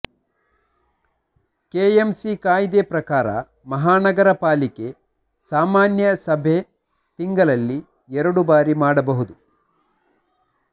KM C ಕಾಯ್ದೆ ಪ್ರಕಾರ ಮಹಾನಗರ ಪಾಲಿಕೆ ಸಾಮಾನ್ಯ ಸಭೆ ತಿಂಗಳಲ್ಲಿ ಎರಡು ಬಾರಿ ಮಾಡಬಹುದು